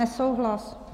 Nesouhlas.